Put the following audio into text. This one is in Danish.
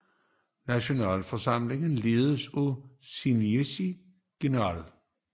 Nationalforsamlingen ledes af en síndic general